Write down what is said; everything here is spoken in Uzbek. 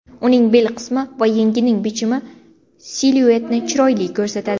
Uning bel qismi va yengining bichimi siluetni chiroyli ko‘rsatadi.